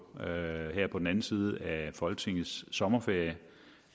her på den anden side af folketingets sommerferie